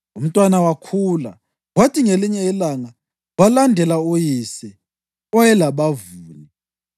Umntwana wakhula, kwathi ngelinye ilanga walandela uyise, owayelabavuni.